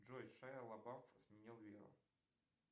джой шейа лабаф изменил веру